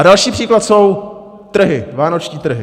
A další příklad jsou trhy, vánoční trhy.